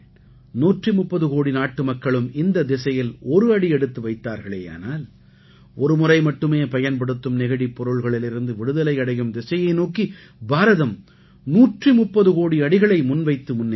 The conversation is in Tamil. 130 கோடி நாட்டுமக்களும் இந்தத் திசையில் ஒரு அடி எடுத்து வைத்தார்களேயானால் ஒருமுறை மட்டுமே பயன்படுத்தும் நெகிழிப் பொருள்களிலிருந்து விடுதலை அடையும் திசையை நோக்கி பாரதம் 130 கோடி அடிகளை முன்வைத்து முன்னேறும்